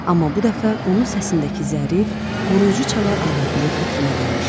Amma bu dəfə onun səsindəki zərif, qoruyucu çalar arvadının xətrinə dəymişdi.